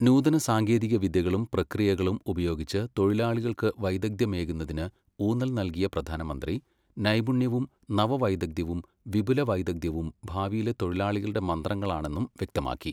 നൂതന സാങ്കേതികവിദ്യകളും പ്രക്രിയകളും ഉപയോഗിച്ചു തൊഴിലാളികൾക്കു വൈദഗ്ധ്യമേകുന്നതിന് ഊന്നൽ നൽകിയ പ്രധാനമന്ത്രി, നൈപുണ്യവും നവവൈദഗ്ധ്യവും വിപുല വൈദഗ്ധ്യവും ഭാവിയിലെ തൊഴിലാളികളുടെ മന്ത്രങ്ങളാണെന്നും വ്യക്തമാക്കി.